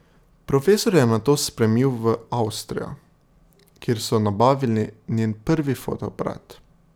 Profesor jo je nato spremil v Avstrijo, kjer so nabavili njen prvi fotoaparat.